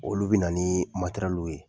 Olu bi na ni ye